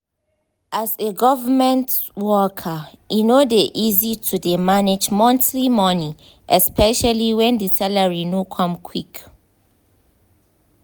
as a government worker e no dey easy to dey manage monthly money especially when the salary no come quick.